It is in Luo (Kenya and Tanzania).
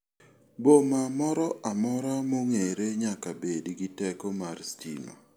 Boma moro amora mong'ere nyaka bed gi teko mar stima.